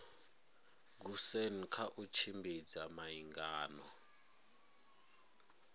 goosen kha u tshimbidza miangano